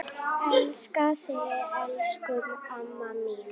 Elska þig, elsku amma mín.